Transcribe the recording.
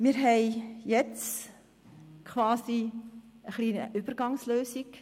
Wir haben jetzt so etwas wie eine Übergangslösung.